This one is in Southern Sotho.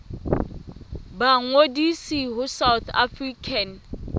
ba ngodise ho south african